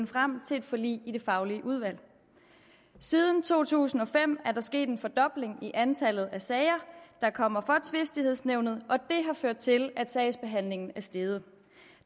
frem til et forlig i det faglige udvalg siden to tusind og fem er der sket en fordobling i antallet af sager der kommer for tvistighedsnævnet og ført til at sagsbehandlingstiden